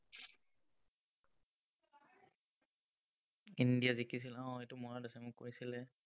India জিকিছিল, উম এইটো মনত আছে, মোক কৈছিলে।